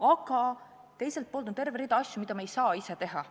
Aga teiselt poolt on terve rida asju, mida me ei saa ise teha.